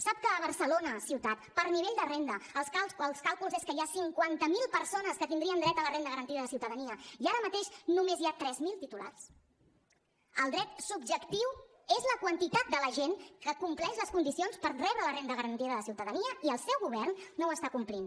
sap que a barcelona ciutat per nivell de renda els càlculs és que hi ha cinquanta mil persones que tindrien dret a la renda garantida de ciutadania i ara mateix només hi ha tres mil titulars el dret subjectiu és la quantitat de la gent que compleix les condicions per rebre la renda garantida de ciutadania i el seu govern no ho està complint